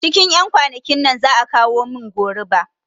Cikin ƴan kwanakin nan za'a kawo min goruba